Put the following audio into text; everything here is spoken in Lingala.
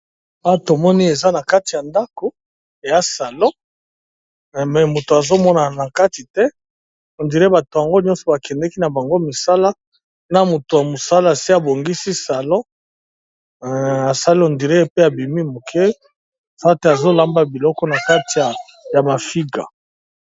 Awa tomoni eza na kati ya ndako eya salon, me moto azo monana na kati te on dire bato yango nyonso ba kendeki na bango misala, na moto ya mosala asi abongisi salon asali on dire pe abimi moke awa pe azo lamba biloko na kati ya mafiga.